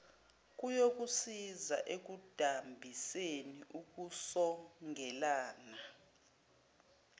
kuyokusiza ekudambiseni ukusongeleka